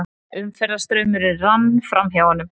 Umferðarstraumurinn rann framhjá honum.